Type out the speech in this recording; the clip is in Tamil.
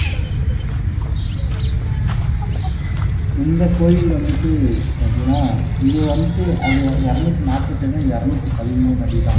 இந்த கோயில் வந்துட்டு எப்படின்னா இது வந்துட்டு அது இருநூத்தி நாப்பத்தி ஏழுன்னா இது இருநூத்தி பதிமூணு அடிதான்